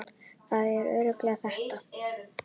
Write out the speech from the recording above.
Það eru örlög þetta!